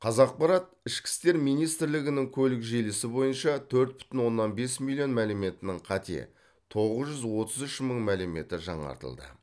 қазақпарат ішкі істер министрлігінің көлік желісі бойынша төрт бүтін оннан бес миллион мәліметінің қате тоғыз жүз отыз үш мың мәліметі жаңартылды